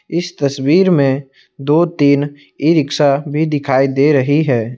इस तस्वीर में दो तीन ई रिक्शा भी दिखाई दे रही है।